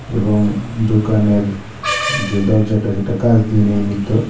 এবং দোকানের যে দরজাটা যেটা কাঁচ দিয়ে নির্মিত।